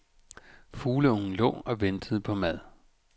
Fugleungen lå og ventede på mad.